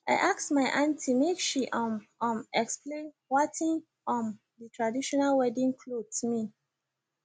i ask my aunty make she um um explain watin um the traditional wedding clothes mean